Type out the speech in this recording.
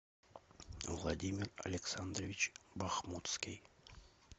владимир александрович бахмутский